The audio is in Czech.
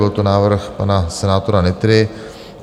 Byl to návrh pana senátora Nytry.